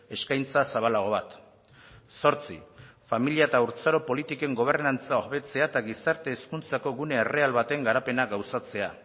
eskaintza zabalago bat zortzi familia eta haurtzaro politiken gobernantza hobetzea eta gizarte hezkuntzako gune erreal baten garapena gauzatzea